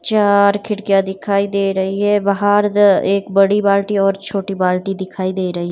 चार खिड़कियां दिखाई दे रही है बाहर एक बड़ी बाल्टी और छोटी बाल्टी दिखाई दे रही है।